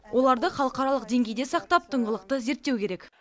оларды халықаралық деңгейде сақтап тыңғылықты зерттеу керек